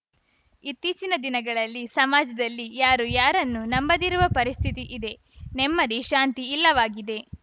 ಇತ್ತೀಚಿನ ದಿನಗಳಲ್ಲಿ ಸಮಾಜದಲ್ಲಿ ಯಾರು ಯಾರನ್ನು ನಂಬದಿರುವ ಪರಿಸ್ಥಿತಿ ಇದೆ ನೆಮ್ಮದಿ ಶಾಂತಿ ಇಲ್ಲವಾಗಿದೆ